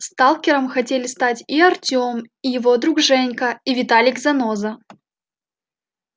сталкером хотели стать и артем и его друг женька и виталик-заноза